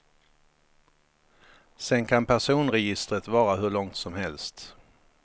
Sen kan personregistret vara hur långt som helst.